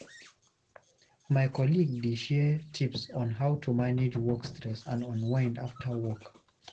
My colleague dey share tips on how to manage work stress and unwind after work.